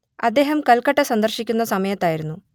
അദ്ദേഹം കൽക്കട്ട സന്ദർശിക്കുന്ന സമയത്തായിരുന്നു